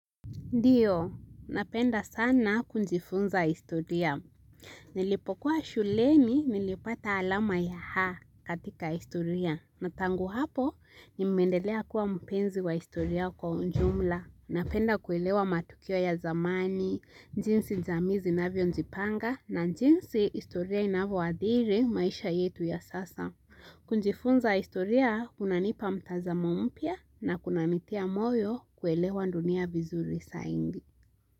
Ndio, napenda sana kujifunza historia. Nilipokuwa shuleni nilipata alama ya A katika historia. Na tangu hapo, nimeendelea kuwa mpenzi wa historia kwa ujumla. Napenda kuelewa matukio ya zamani, jinsi jamii zinavyojipanga, na jinsi historia inavyoadhiri maisha yetu ya sasa. Kujifunza historia, kunanipa mtazamo mpya na kunanitia moyo kuelewa dunia vizuri zaidi.